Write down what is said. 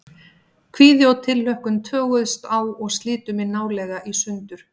Kvíði og tilhlökkun toguðust á og slitu mig nálega í sundur.